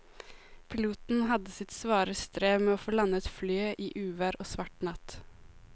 Piloten hadde sitt svare strev med å få landet flyet i uvær og svart natt.